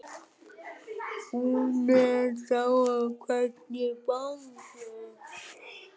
Hún er þó hvergi bangin.